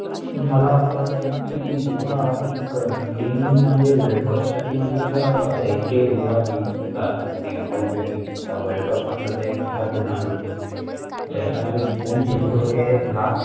मला असं वाटतं कि, जेव्हा एक TEAM म्हणजे, WORLDCUP साठी म्हटलं तर आता इतके जेव्हा TEAM असतात, हे मोठे मोठे TEAM असतात, WORLDCUP म्हटलं तर एक मोठा tournament असतो ज्याच्यामध्ये कोण जिंकतोय LAST